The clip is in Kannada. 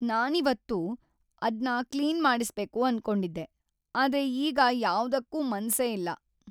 ನಾನಿವತ್ತು ಅದ್ನ ಕ್ಲೀನ್‌ ಮಾಡಿಸ್ಬೇಕು ಅನ್ಕೊಂಡಿದ್ದೆ, ಆದ್ರೆ ಈಗ ಯಾವ್ದುಕ್ಕೂ ಮನ್ಸೇ ಇಲ್ಲ.